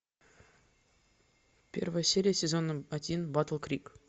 первая серия сезон один батл крик